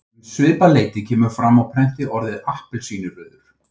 Um svipað leyti kemur fram á prenti orðið appelsínurauður.